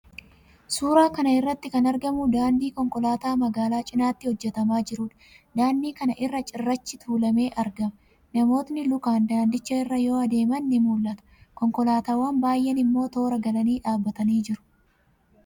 Suuraa kana irratti kan argamu daandii konkolaataa magaalaa cinatti hojjetamaa jiruudha. Daandii kana irra cirrachi tuulamee argama. Namootni lukaan daandicha irra yoo adeeman ni mul'ata. Konkolaataawwan baay'een immoo toora galanii dhaabbatanii jiru.